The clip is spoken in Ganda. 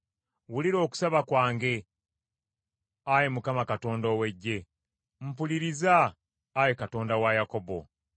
Wulira okusaba kwange, Ayi Mukama Katonda ow’Eggye; mpuliriza, Ayi Katonda wa Yakobo.